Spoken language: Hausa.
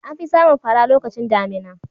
An fi samun fara lokacin damina.